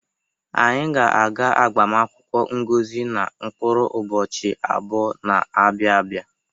Anyị ga-aga agbamụnkwụ Ngozi na mkpụrụ ụbọchi abụọ na-abịa abịa.